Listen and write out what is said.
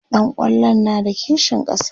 ɗan kwallon na da kishin ƙasa?